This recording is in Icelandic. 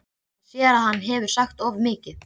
Hann sér að hann hefur sagt of mikið.